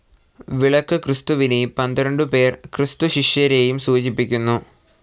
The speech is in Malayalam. വിളക്ക് ക്രിസ്തുവിനേയും പന്ത്രണ്ടുപേർ ക്രിസ്തുശിഷ്യന്മാരെയും സൂചിപ്പിക്കുന്നു.